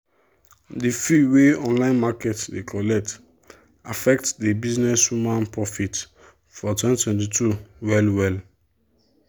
the fee wey online market dey collect affect the businesswoman profit for 2022 well-well.